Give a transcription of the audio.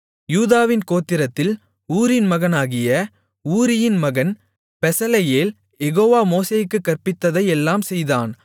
யூதாவின் கோத்திரத்தில் ஊரின் மகனாகிய ஊரியின் மகன் பெசலெயேல் யெகோவா மோசேக்குக் கற்பித்ததை எல்லாம் செய்தான்